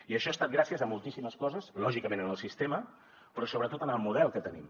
i això ha estat gràcies a moltíssimes coses lògicament en el sistema però sobretot en el model que tenim